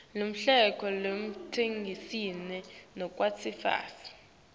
luhlelo lwekuvikelwa kwabofakazi